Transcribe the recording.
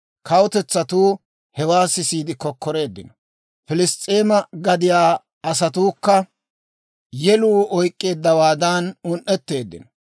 Kawutetsatuu hewaa sisiide kokkoreeddino. Piliss's'eema gadiyaa asatuukka yeluu oyk'k'eeddawaadan un"etteeddino.